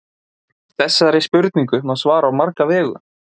Þessari spurningu má svara á marga vegu.